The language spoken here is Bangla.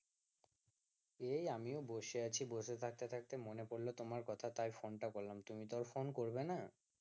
এই আমিও বসে আছি বসে থাকতে থাকতে মনে পড়লো তোমার কথা তাই ফোন টা করলাম তুমি তো আর ফোন করবে না